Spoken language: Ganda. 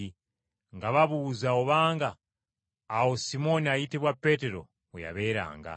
nga babuuza obanga awo Simooni ayitibwa Peetero we yabeeranga.